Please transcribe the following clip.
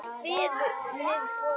Veiðar með botnnet